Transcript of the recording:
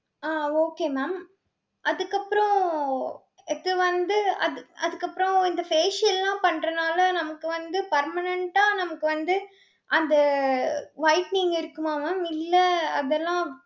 அஹ் okay mam அதுக்கப்புறம், இது வந்து அது அதுக்கப்புறம் இந்த facial லாம் பண்றனால நமக்கு வந்து permanent ஆ நமக்கு வந்து அந்த whitening இருக்குமா mam இல்ல அதெல்லாம்